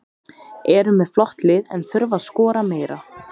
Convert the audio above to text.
Eru með flott lið en þurfa að skora meira.